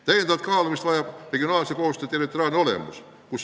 Täiendavat kaalumist vajab regionaalse koostöö territoriaalne olemus.